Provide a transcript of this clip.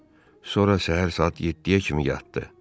Sonra səhər saat 7-yə kimi yatdı.